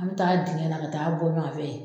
An bɛ taa dingɛ na ka taa bɔ ɲuwan fɛ.